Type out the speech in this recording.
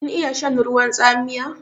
Kin iya shan ruwan tsamiya?